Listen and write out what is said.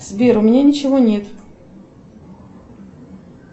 сбер у меня ничего нет